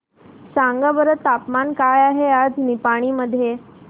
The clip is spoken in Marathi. सांगा बरं तापमान काय आहे आज निपाणी मध्ये